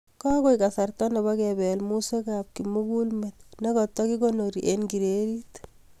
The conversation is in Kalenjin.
Kokoit kasarta nebo kepel muswek ab kimugulmet nekoto kikonori eng kererit